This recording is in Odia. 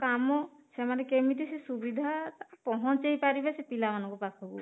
କାମ ସେମାନେ କେମିତି ସୁବିଧା ପହଞ୍ଚେଇ ପାରିବେ ସେ ପିଲା ମାନଙ୍କ ପାଖକୁ